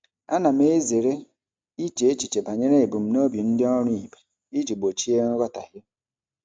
Ana m ezere iche echiche banyere ebumnobi ndị ọrụ ibe iji gbochie nghọtahie.